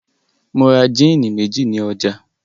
Mo ra jíínì méjì ní ọjà.